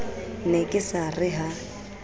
ne ke sa re ha